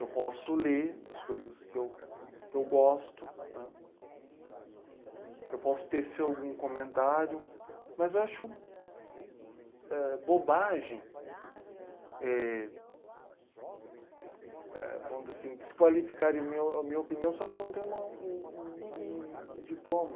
eu posso ler as coisas que eu, que eu gosto né, eu posso tecer algum comentário, mas eu ãh... acho bobagem éh... Éh vamos dizer assim, desqualificarem a minha o minha opinião só porque eu não tenho uma um um diploma.